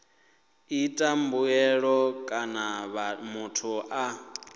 ita mbuyelo kana muthu a